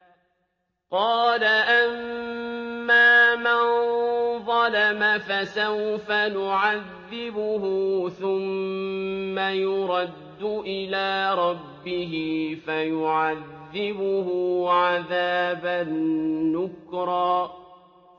قَالَ أَمَّا مَن ظَلَمَ فَسَوْفَ نُعَذِّبُهُ ثُمَّ يُرَدُّ إِلَىٰ رَبِّهِ فَيُعَذِّبُهُ عَذَابًا نُّكْرًا